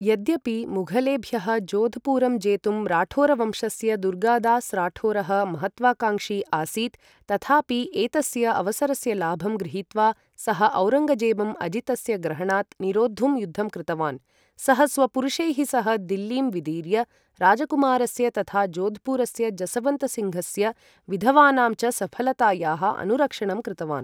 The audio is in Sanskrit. यद्यपि मुघलेभ्यः जोधपुरं जेतुम् राठोरवंशस्य दुर्गादास् राठोरः महत्त्वाकाङ्क्षी आसीत्, तथापि एतस्य अवसरस्य लाभं गृहीत्वा सः औरङ्गजेबम् अजितस्य ग्रहणात् निरोद्धुं युद्धं कृतवान्, सः स्वपुरुषैः सह दिल्लीं विदीर्य राजकुमारस्य तथा जोधपुरस्य जसवन्त् सिङ्घस्य विधवानां च सफलतया अनुरक्षणं कृतवान्।